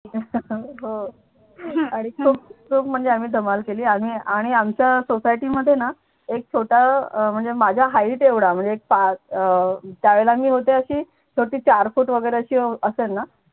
हो आणि चौक चौक म्हणजे आम्ही धमाल केली आणि आमच्या सोसायटीमध्ये ना एक छोटा म्हणजे माझ्या height चा एवढा म्हणजे एक पाच अं त्यावेळेला मी होते अशी छोटी चार फूट वगैरे असेल ना